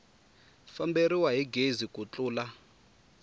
famberiwa hi gezi ku tlula